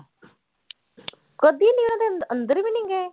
ਕਦੇ ਨੀ ਉਹਨਾਂ ਦੇ ਅੰਦਰ ਵੀ ਨੀ ਗਏ।